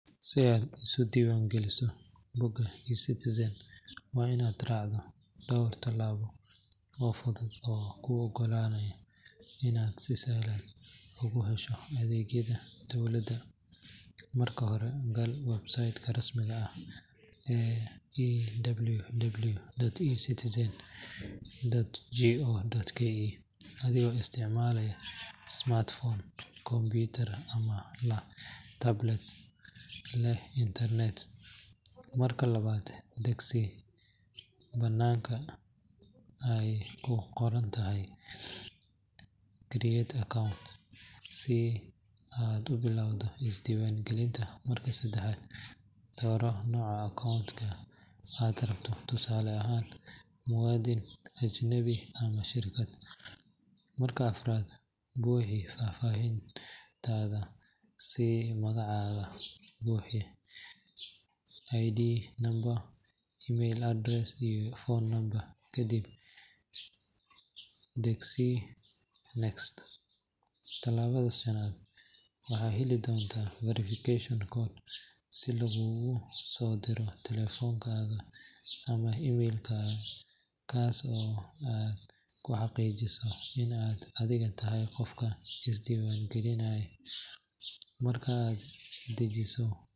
Si aad isu diiwaan geliso bogga eCitizen waa inaad raacdaa dhowr talaabo oo fudud oo kuu ogolaanaya inaad si sahlan ugu hesho adeegyada dowladda. Marka hore, gal website-ka rasmiga ah ee www.ecitizen.go.ke adigoo isticmaalaya smartphone, computer ama tablet leh internet. Marka labaad, dhagsii badhanka ay ku qoran tahay Create Account si aad u bilaabato isdiiwaangelinta. Marka saddexaad, dooro nooca akoonka aad rabto, tusaale ahaan muwaadin, ajnabi ama shirkad. Marka afraad, buuxi faahfaahintaada sida magacaaga buuxa, ID number, email address, iyo phone number, kadibna dhagsii Nex. Talaabada shanaad, waxaad heli doontaa verification code oo laguugu soo diro taleefankaaga ama email, kaas oo aad ku xaqiijinayso in aad adigu tahay qofka iska diiwaangelinaya. Marka aad xaqiijiso.